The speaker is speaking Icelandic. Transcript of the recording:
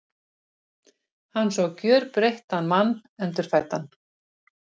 Hann sá gjörbreyttan mann, endurfæddan.